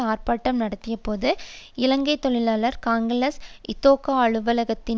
ஆர்ப்பாட்டம் நடத்திய போது இலங்கை தொழிலாளர் காங்கிரஸ் இதொகா அலுவலகத்தின்